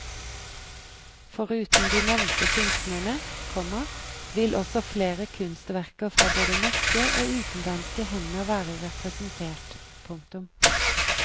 Foruten de nevnte kunstnerne, komma vil også flere kunstverker fra både norske og utenlandske hender være representert. punktum